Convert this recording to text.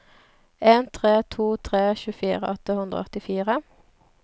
en tre to tre tjuefire åtte hundre og åttifire